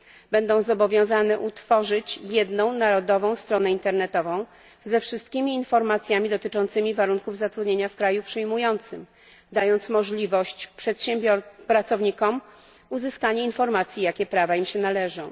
Będą zobowiązane utworzyć jedną narodową stronę internetową ze wszystkimi informacjami dotyczącymi warunków zatrudnienia w kraju przyjmującym, dając pracownikom możliwość uzyskania informacji, jakie prawa im się należą.